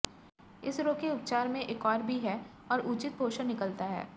इस रोग के उपचार में एक और भी है और उचित पोषण निकलता है